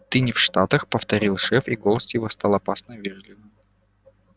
ты не в штатах повторил шеф и голос его стал опасно вежливым